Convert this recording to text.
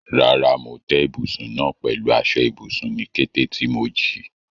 Rárá, mo tẹ́ ibùsùn náà pẹ̀lú aṣọ ibùsùn ní kété tí mo jí.